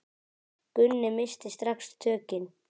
Gunni missti strax tökin.